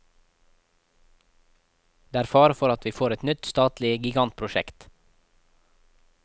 Det er fare for at vi får et nytt statlig gigantprosjekt.